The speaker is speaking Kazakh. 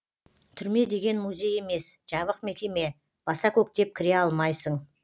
түрме деген музей емес жабық мекеме баса көктеп кіре алмайсың